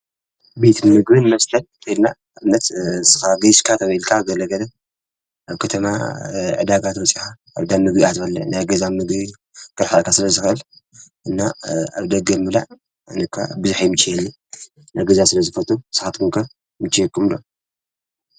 ቤት ምግብን መስተን እንተ ኢልና ንኣብነት ንስካ ጌሽካ ተዉዒልካ ገለ ገለ ኣብ ከተማ እንተወዒልኻ ዕዳጋ ተወፂኻ ዳ ምግቢ ኢካ ትበልዕ ናይ ገዛ ምግቢ ክርሕቀካ ስለ ዝኸእል እና ኣብ ደገ ምብላዕ ኣነኳ ብዙሕ ኣይምችወንን ኣብ ገዛ ስለ ዝፈቱ ንስካትኩም ከ ይምችወኩም ዶ ?